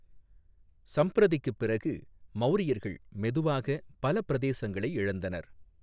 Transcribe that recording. சம்பிரதிக்குப் பிறகு, மௌரியர்கள் மெதுவாக பல பிரதேசங்களை இழந்தனர்.